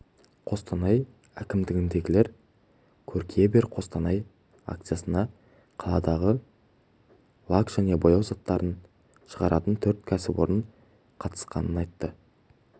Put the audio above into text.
қостанай әкімдігіндегілер көркейе бер қостанай акциясына қаладағы лак және бояу заттарын шығаратын төрт кәсіпорын қатысқанын айтты